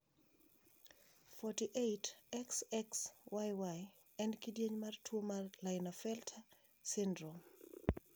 48,XXYY en kidieny mar tuo mar Klinefelter syndrome.